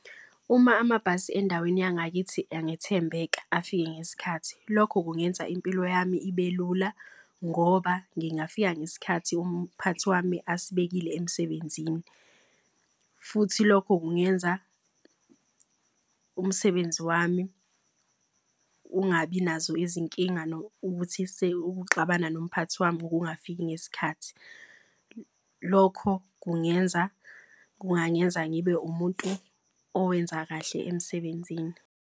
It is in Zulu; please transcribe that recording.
Uma amabhasi endaweni yangakithi angathembeka afike ngesikhathi, lokho kungenza impilo yami ibe lula. Ngoba ngingafika ngesikhathi umphathi wami asibekile emsebenzini. Futhi lokho kungenza umsebenzi wami ungabi nazo izinkinga ukuthi xabana nomphathi wami. Ngokungafiki ngesikhathi lokho kungangenza ngibe umuntu owenza kahle emsebenzini.